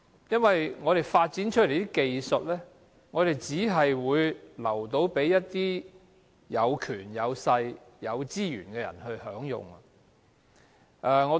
因為我們發展出來的技術只供給有權、有勢、有資源的人享用。